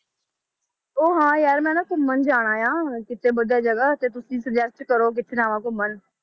ਉਹ ਹਾਂ ਯਾਰ ਮੈਂ ਨਾ ਘੁੰਮਣ ਜਾਣਾ ਆਂ ਕਿਤੇ ਜਗ੍ਹਾ ਤੇ ਤੁਸੀਂ suggest ਕਰੋ, ਕਿੱਥੇ ਜਾਵਾਂ ਘੁੰਮਣ।